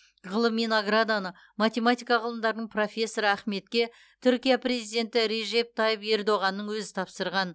ғылыми награданы математика ғылымдарының профессоры ахметке түркия президенті режеп тайып ердоғанның өзі тапсырған